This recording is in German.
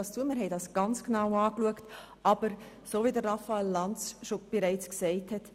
Aber wie Raphael Lanz bereits gesagt hat: